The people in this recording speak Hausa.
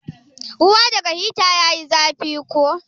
Ruwa daga hita din ya yi zafi ko?